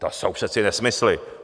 To jsou přece nesmysly.